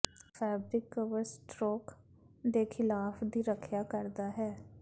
fabric cover stroke ਦੇ ਖਿਲਾਫ ਦੀ ਰੱਖਿਆ ਕਰਦਾ ਹੈ